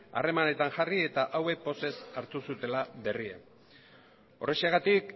harremanetan jarri eta hauek pozez hartu zutela berria horrexegatik